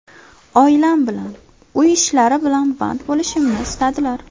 Oilam bilan, uy ishlari bilan band bo‘lishimni istadilar.